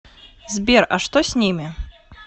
сбер а что с ними